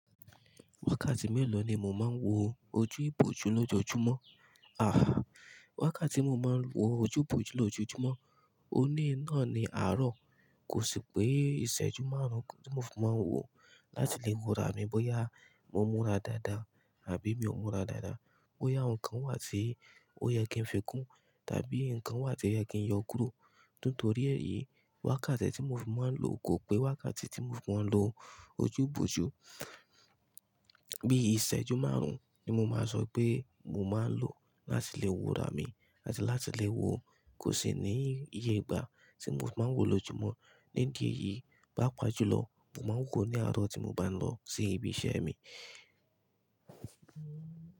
Wákàtí mélòó ni mo máa ń wo ojú ìbòjú lójoojúmọ́? Àhá! Wákàtí tí mo máa ń wo ojú ìbòjú lójoojúmọ́, òní náà ni àárọ̀. Kò sì pé ìṣẹ́jú márùn-ún ni mo fi máa ń wò láti lè wora mi bóyá mo múra dáadáa àbí mi ò múra dáadáa, bóyá nǹkan wà tí ó yẹ kí n fi kún, tàbí nǹkan wà tí ó yẹ kí n yọ kúrò. Nítorí èyí, wákàtí tí mo fi máa ń lò kò pé wákàtí tí mo fi máa ń lo ojú ìbòjú. Bí i ìṣẹ́jú márùn-ún ni mo máa sọ pé mo máa ń lò láti lè wora mi àti láti lè wo, kò sì ní iye ìgbà tí mo fi máa ń wò lójúmọ́. Ní di ẹyí, paapa júlọ, mo máa ń wò ní àárọ̀ tí mo bá ń lọ sí ibi iṣẹ́ mi.